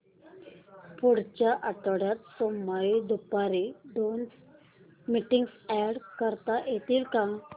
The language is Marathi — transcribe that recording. पुढच्या आठवड्यात सोमवारी दुपारी दोन मीटिंग्स अॅड करता येतील का